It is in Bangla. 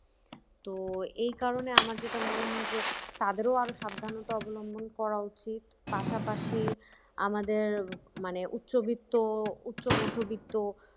তো এই কারণে আমার যেটা মনে হয় যে তাদেরও আরো সাবধানতা অবলম্বন করা উচিত পাশাপাশি আমাদের মানে উচ্চবিত্ত উচ্চ মধ্যবিত্ত